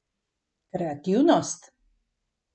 Kreativnost?